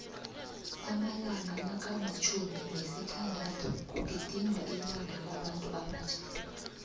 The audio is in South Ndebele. amalanga nakamtjhumi nesithandathu kugidingwa ilanga labantuabatjha